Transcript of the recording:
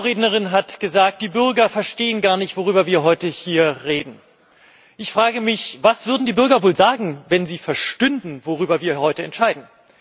Eine Vorrednerin hat gesagt, die Bürger verstehen gar nicht, worüber wir heute hier reden. Ich frage mich, was die Bürger wohl sagen würden, wenn sie verstünden, worüber wir heute entscheiden.